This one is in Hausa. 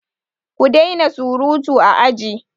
Ku daina surutu a aji!